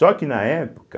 Só que na época,